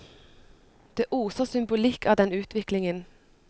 Det oser symbolikk av den utviklingen.